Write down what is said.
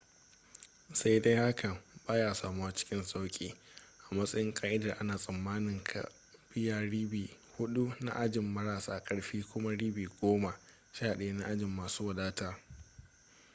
sai dai hakan ba ya samuwa cikin sauƙi a matsayin ƙa'idar ana tsammanin ka biya ribi hudu na ajin marasa karfi kuma ribi goma sha daya na ajin masu wadataa